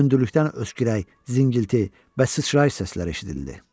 Hündürlükdən öskürək, zingilti və sıçrayış səsləri eşidildi.